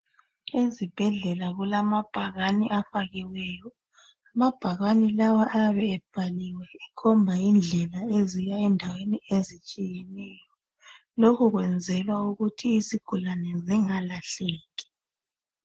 Ezibhedlela kulamabhakani afakiweyo. Amabhakani lawa ayabe ebhaliwe ekhomba indlela eziya endaweni ezitshiyeneyo. Lokho kwenzelwa ukuthi izigulani zingalahleki.